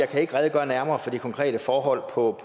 kan redegøre nærmere for de konkrete forhold på